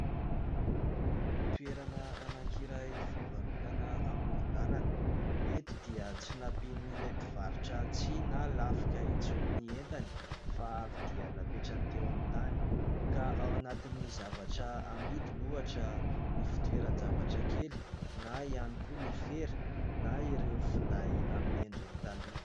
Toerana anankiray fivarotana amoron-dàlana. Eto dia tsy nampian'ilay mpivarotra tsihy na lafika intsony ny entany fa avy dia napetrany teo amin'ny tany. Ka ao anatin'ny zavatra amidiny ohatra ny fitoeran-javatra kely na ihany koa ny fera na ireo finday amin'ny endriny taloha.